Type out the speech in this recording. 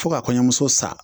Fɔ ka kɔɲɔmuso sa